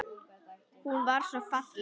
Hún var svo falleg.